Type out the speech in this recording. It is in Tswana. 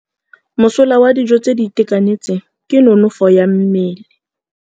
Mosola wa dijô tse di itekanetseng ke nonôfô ya mmele.